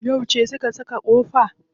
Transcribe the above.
Yauce su ka saka kofa?